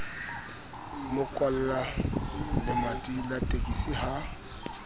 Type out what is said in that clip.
mo kwallalemati la tekisi ha